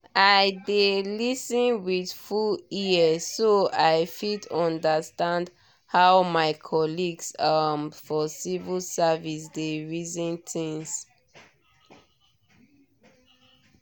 i dey lis ten with full ear so i fit understand how my colleagues um for civil service dey reason things.